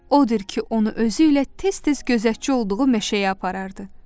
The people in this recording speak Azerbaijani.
Odur ki, onu özü ilə tez-tez gözətçi olduğu meşəyə aparırdı.